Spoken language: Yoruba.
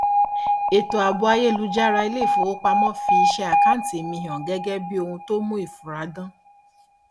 ètò ààbò ayélújára ilé ifowópamọ fi iṣẹ àkáǹtì mi hàn gẹgẹ bí ohun tó mu ìfura dan